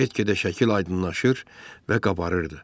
Get-gedə şəkil aydınlaşır və qabarırdı.